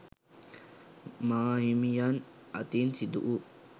මාහිමියන් අතින් සිදුවූ